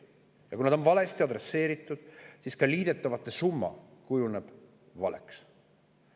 Ja kui need küsimused on valesti adresseeritud, siis kujuneb ka liidetavate summa valeks.